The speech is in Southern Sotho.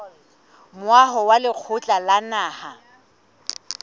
moaho wa lekgotla la naha